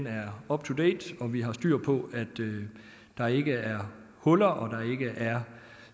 er up to date og at vi har styr på at der ikke er huller og